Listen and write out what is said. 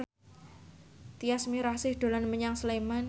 Tyas Mirasih dolan menyang Sleman